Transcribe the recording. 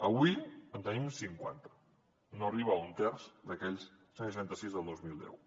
avui en tenim cinquanta no arriba a un terç d’aquells cent i noranta sis del dos mil deu